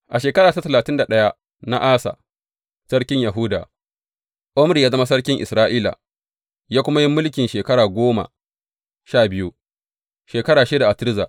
A shekara ta talatin da ɗaya na Asa sarkin Yahuda, Omri ya zama sarkin Isra’ila, ya kuma yi mulki shekara goma sha biyu, shekaru shida a Tirza.